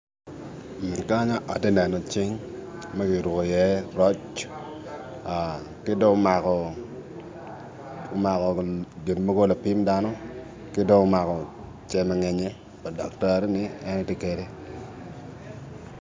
Kanye atye neno iye cing makiruko i ye roc ki dong omako gin mogo gin mogo lapim ki dong omako cal nyenye daktari ne en tye kene.